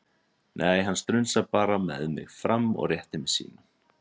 Nei, hann strunsar bara með mig fram og réttir mér símann.